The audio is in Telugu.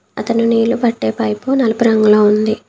అతను నీళ్లు పట్టే పైపు నలుపు రంగులో ఉంది.